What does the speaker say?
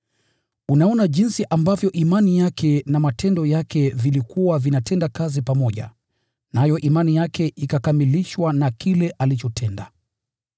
Unaona jinsi ambavyo imani yake na matendo yake vilikuwa vinatenda kazi pamoja, nayo imani yake ikakamilishwa na kile alichotenda.